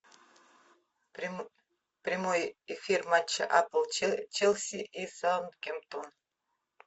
прямой эфир матча апл челси и саутгемптон